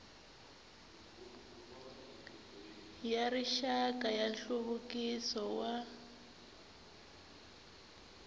ya rixaka ya nhluvukiso wa